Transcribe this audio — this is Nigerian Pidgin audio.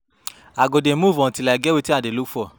I go dey move till I get wetin I dey look for